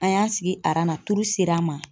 An y'an sigi aran na turu ser'an ma.